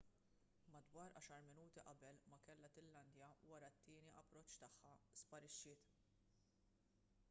madwar għaxar minuti qabel ma kellha tillandja wara t-tieni approċċ tagħha sparixxiet